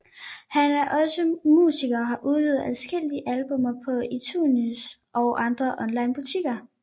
Han er også musiker og har udgivet adskillige albummer på iTunes og andre online butikker